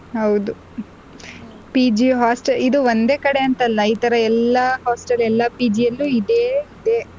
ಹೌದು PG host~ ಇದು ಒಂದೇ ಕಡೆ ಅಂತಲ್ಲ ಇತರ ಎಲ್ಲ hostel ಎಲ್ಲ PG ಅಲ್ಲೂ ಇದೆ ಇದೇ.